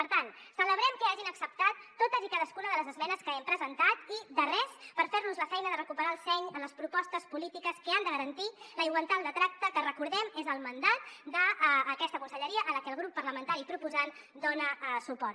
per tant celebrem que hagin acceptat totes i cadascuna de les esmenes que hem presentat i de res per fer los la feina de recuperar el seny en les propostes polítiques que han de garantir la igualtat de tracte que recordem ho és el mandat d’aquesta conselleria a la que el grup parlamentari proposant dona suport